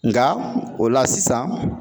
Nka o la sisan